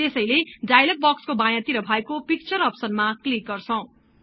त्यसैले डायलग बक्सको बायाँ तिर भएको पिक्चर अप्सनमा क्लिक गर्छौं